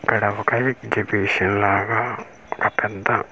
ఇక్కడ ఒక ఎక్సిబిషన్ లాగ ఒక పెద్ద .]